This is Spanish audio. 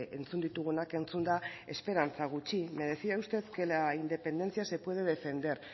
entzun ditugunak entzunda esperantza gutxi me decía usted que la independencia se puede defender